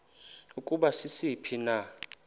ukuba sisiphi na